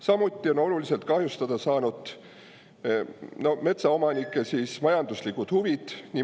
Samuti on oluliselt kahjustada saanud metsaomanike majanduslikud huvid.